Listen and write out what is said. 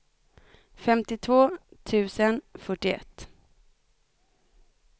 femtiotvå tusen fyrtioett